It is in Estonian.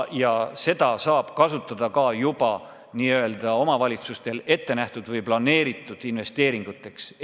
Seda raha saab kasutada ka omavalitsustel juba planeeritud investeeringuteks.